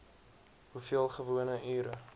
hoeveel gewone ure